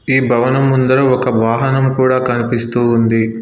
ఈ భవనం ముందర ఒక వాహనం కూడా కనిపిస్తూ ఉంది.